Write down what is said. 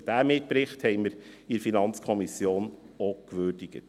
Diesen Mitbericht würdigten wir in der FiKo.